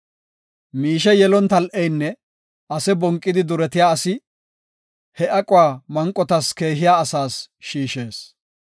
Mishe yelon tal7eynne ase bonqidi duretiya asi he aquwa manqotas keehiya asas shiishees.